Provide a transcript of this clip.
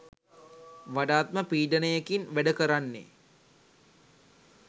වඩාත්ම පීඩනයකින් වැඩ කරන්නේ